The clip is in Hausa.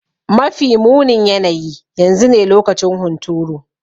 Mafi munin yanayi yanzu ne lokacin hunturu.